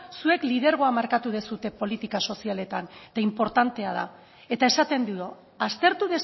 zuek lidergoa markatu duzue politika sozialetan eta inportantea da eta esaten dio aztertu